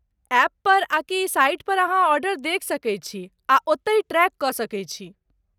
ऐपपर आकि साइट पर अहाँ ऑर्डर देखि सकैत छी आ ओत्तहि ट्रैक कऽ सकैत छी।